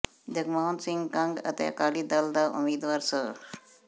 ਜਗਮੋਹਨ ਸਿੰਘ ਕੰਗ ਅਤੇ ਅਕਾਲੀ ਦਲ ਦ ਉਮੀਦਵਾਰ ਸ੍ਰ